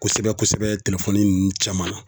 Kosɛbɛ kosɛbɛ nunnu cɛman.